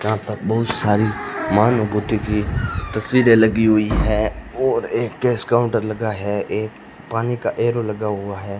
यहां पर बहुत सारी मनुभूति की तस्वीरें लगी हुई हैं और एक कैश काउंटर लगा है एक पानी का एरो लगा हुआ है।